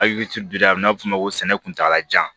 Akili to la a bi na fɔ ma ko sɛnɛ kuntala jan